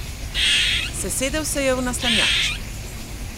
Sesedel se je v naslanjač.